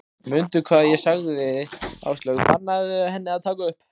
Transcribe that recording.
Mundu hvað ég sagði sagði Áslaug, bannaðu henni að taka upp